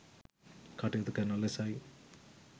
කටයුතු කරන ලෙසයි